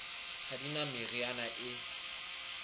ha di na meriana e